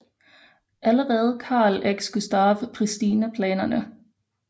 Allerede Karl X Gustav priste planerne